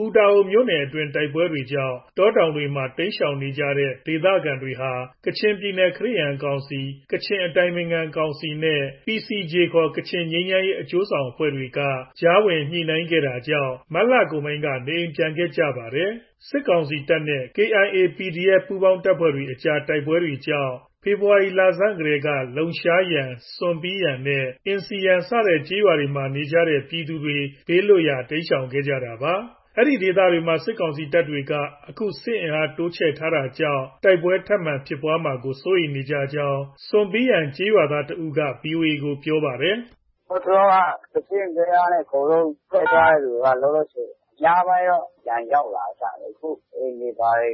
ပူတာအိုမြို့နယ်အတွင်း တိုက်ပွဲကြောင့် တောတောင်တွေမှာ တိမ်းရှောင်နေကြတဲ့ ဒေသခံတွေဟာ မြစ်ကြီးနား ခရစ်ယာန်ကောင်စီ၊ ကချင်အတိုင်ပင်ခံကောင်စီနဲ့ PCG ခေါ် ကချင်ငြိမ်းချမ်းရေး အကျိုးဆောင်အဖွဲ့တွေက ကြားဝင် ညှိနှိုင်းခဲ့တာကြောင့် မတ်လကုန်ပိုင်းက နေရပ်ပြန်ခဲ့ကြပါတယ်။ စစ်ကောင်စီတပ်နဲ့ KIA၊ PDF အကြားတိုက်ပွဲကြောင့် ဖေဖော်ဝါရီလဆန်းကတည်းက လုံရှာယန်၊ ဆွန်ပီယန်နဲ့ အင်စီယန်စတဲ့ ကျေးရွာတွေမှာ နေကြတဲ့ ပြည်သူတွေ ဘေးလွတ်ရာ တိမ်းရှောင်ခဲ့ကြတာပါ။ အဲဒီဒေသတွေမှာ စစ်ကောင်စီတပ်တွေက အခု စစ်အင်အား တိုးချနေတာကြောင့် တိုက်ပွဲထပ်မံဖြစ်မှာကို စိုးရိမ်နေကြောင်း ဆွန်ပီယန်ကျေးရွာက ဒေသခံတစ်ဦးက VOA ကို ပြောပါတယ်။ “ ဟိုးတလောက ကစင့်ကလျားနဲ့ ထွက်သွားတဲ့သူတွေက လောလောဆည် အများပိုင်းတော့ ပြန်ရောက်လာကြပြီ။ အခု အိမ်တွေ ဘာတွေ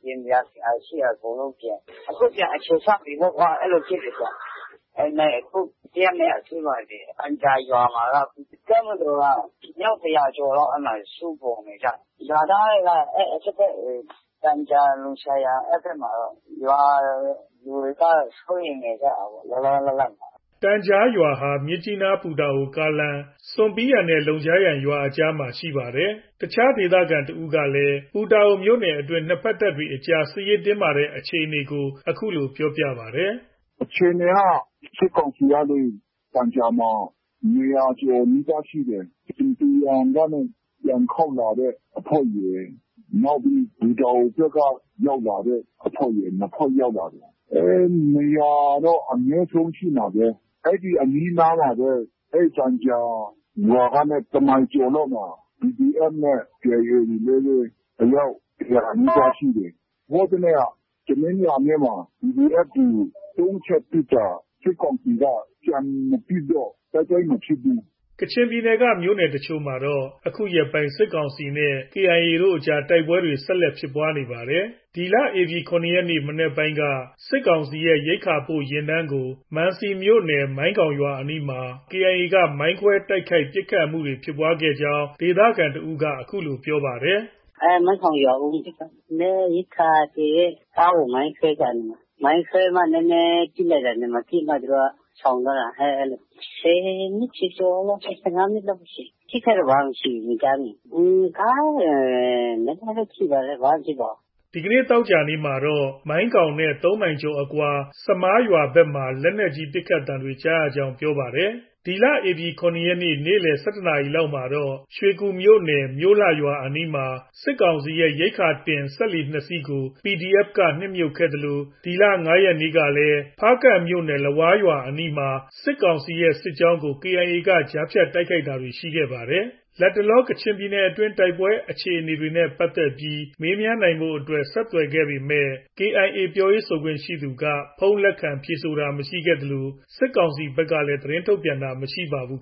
ပြင်စရာရှိတာ အကုန်လုံးပြင်ကြတယ်။ အခုပြန်အခြေချပြီပေါ့ကွာ။ အဲလို ဖြစ်နေကြတာ။ ဒါပေမဲ့ ဒီတစ်ရက်၊ နှစ်ရက်အတွင်းမှာ တန်ဂျာရွာမှာက တပ်မတော်က အယောက် ၁၀၀ကျော်လောက် အဲဒီမှာ စုပုံနေကြတယ်။ ရွာသားတွေက အဲဒီအထက်ဖက် တန်ဂျာ၊ လုံရှာယန် အဲဒီဘက်မှာတော့ ရွာ လူတွေကတော့ စိုးရိမ်နေကြတာပေါ့။” တန်ဂျာရွာဟာ မြစ်ကြီးနား- ပူတာအို ကားလမ်း၊ ဆွန်ပီယန်နဲ့ လုံရှာယန်ရွာအကြားမှာ ရှိတာဖြစ်ပါတယ်။ အခြားဒေသခံတစ်ဦးကလည်း ပူတာအိုမြို့နယ်အတွင်း နှစ်ဘက်တပ်တွေအကြား စစ်ရေးတင်းမာနေတဲ့ အခြေအနေကို အခုလို ပြောပါတယ်။ “ အခြေအနေက စစ်ကောင်စီကနေ တန်ဂျာမှာ ၂၀၀ ကျော်နီးပါး ရှိတယ်။ ဆွန်ပီယန်ကနေ ပြန်ခေါက်လာတဲ့ အဖွဲ့တွေ၊ နောက်ပြီး ပူတာအိုဘက်က ရောက်လာတဲ့အဖွဲ့တွေ နှစ်ဖွဲ့ ရောက်လာတယ်။ ၂၀၀တော့ အနည်းဆုံး ရှိမှာပဲ။ အဲဒီအနီးအနားမှာပဲ အဲဒီ တန်ဂျာရွာကနေ တစ်မိုင်ကျော်လောက်မှာ PDF နဲ့ KIA တွေလည်းပဲ အယောက် ၁၀၀ နီးပါးရှိတယ်။ ဟိုးတစ်နေ့က တနင်္လာနေ့မှာ PDF တွေ ၃ချက်ပစ်တာ။ စစ်ကောင်စီက ပြန်မပစ်တော့ တိုက်ပွဲမဖြစ်ဘူး။” ကချင်ပြည်နယ်က မြို့နယ်အချို့မှာတော့ အခုရက်ပိုင်း စစ်ကောင်စီနဲ့ KIA အကြား တိုက်ခိုက်မှုတွေ ဆက်တိုက်ဖြစ်ခဲ့ပါတယ်။ ဒီလ ၇ ရက်နေ့ မနက်ပိုင်းက စစ်ကောင်စီရဲ့ ရိက္ခာပို့ယာဉ်တန်းကို မံစီမြို့နယ်၊ မိုင်းခေါင်ရွာအနီးမှာ KIA က မိုင်းခွဲတိုက်ခိုက်ခဲ့ ပစ်ခတ်မှုတွေ ဖြစ်ခဲ့ကြောင်း ဒေသခံတစ်ဦးက အခုလို ပြောပါတယ်။ “ မိုင်းခေါင်ရွာဦးမှာ ဖြစ်တာ။ ရိက္ခာသယ်တဲ့ ကားကို မိုင်းခွဲတာနေမှာ။ မိုင်းခွဲပြီးမှ နည်းနည်းပစ်လိုက်တာနေမှာ ပစ်ပြီးမှ သူတို့က ရှောင်သွားတာ။ ၁၀မိနစ်ကျော်ကျော်၊ ၁၅မိနစ်လောက်ပဲ ရှိမယ်။ အထိအခိုက်တော့ ဘာမှ မရှိဘူး။ မကြားမိဘူး။ ကားတွေ နည်းနည်းပဲ ထိပါတယ်။ ဘာမှ မဖြစ်ပါဘူး။” ဒီကနေ့ သောကြာနေ့မှာတော့ မိုင်းခေါင်နဲ့ ၃မိုင်ကျော်အကွာ ဆမာရွာဘက်မှာ လက်နက်ကြီး ပစ်သံတွေ ကြားရကြောင်း ပြောပါတယ်။ ဒီလ ၇ ရက်နေ့ နေ့လည် ၁၁နာရီလောက်မှာတော့ ရွှေကူမြို့နယ် မြို့လှရွာအနီးမှာ စစ်ကောင်စီရဲ့ ရိက္ခာတင် စက်လှေ ၂စီးကို PDF က နစ်မြုပ်ခဲ့သလို ဒီလ ၅ရက်နေ့ကလည်း ဖားကန့်မြို့နယ် လဝါးရွာအနီးမှာ စစ်ကောင်စီရဲ့ စစ်ကြောင်းကို KIA က ကြားဖြတ် တိုက်ခိုက်တာတွေ ရှိခဲ့ပါတယ်။ လတ်တလော ကချင်ပြည်နယ်အတွင်း တိုက်ပွဲအခြေအနေနဲ့ပတ်သက်ပြီး မေးမြန်းနိုင်ဖို့ ဆက်သွယ်ခဲ့ပေမဲ့ KIA ပြောရေးဆိုခွင့်ရှိသူက ဖုန်း လက်ခံ ဖြေဆိုတာမရှိခဲ့သလို စစ်ကောင်စီဘက်ကလည်း သတင်းထုတ်ပြန်တာ မရှိပါဘူး